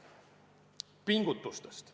Pingutustest.